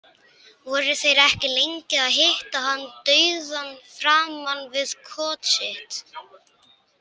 Voru þeir ekki lengi að hitta hann dauðan framan við kot sitt.